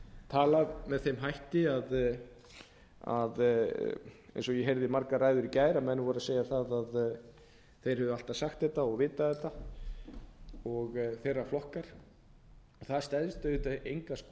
talað með þeim hætti eins og ég heyrði margar ræður í gær að menn voru að segja að þeir hefðu alltaf sagt þetta og vitað þetta og þeirra flokkar það stenst auðvitað enga skoðun